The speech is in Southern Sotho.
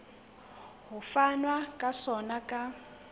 ho fanwa ka sona ka